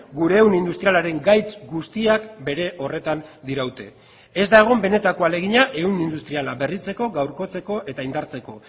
gure ehun industrialaren gaitz guztiak bere horretan diraute ez da egon benetako ahalegina ehun industriala berritzeko gaurkotzeko eta indartzeko